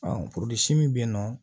min bɛ yen nɔ